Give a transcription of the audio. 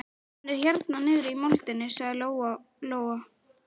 Hann er hérna niðri í moldinni, sagði Lóa-Lóa.